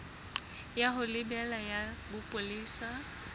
ya ho lebela ya bopolesa